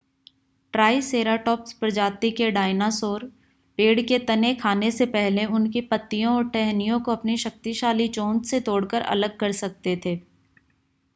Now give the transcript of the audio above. triceratops प्रजाति के dinosaur पेड़ के तने खाने से पहले उनकी पत्तियों और टहनियों को अपनी शक्तिशाली चोंच से तोड़कर अलग कर सकते थे